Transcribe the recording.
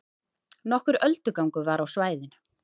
Nokkur öldugangur var á svæðinu